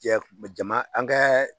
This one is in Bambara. Cɛ, jaman an kɛ